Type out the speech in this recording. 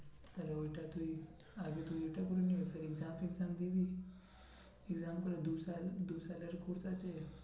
তাহলে ওইটা তুই, আগে তুই ওইটা করে নিবি second chance এ exam দিয়ে দিবি দু সাল, দু সালের course আছে